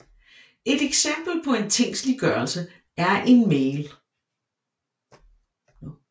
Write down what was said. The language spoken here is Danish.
Et eksempel på en tingsliggørelse er en mail